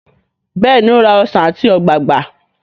béèni o rà Ọsán ati ogbagba.